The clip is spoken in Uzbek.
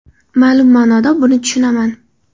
Ma’lum ma’noda buni tushunaman.